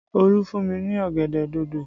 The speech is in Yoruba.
Olu fún mi ní ọ̀gẹ̀dẹ̀ dòdò